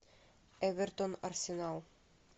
эвертон арсенал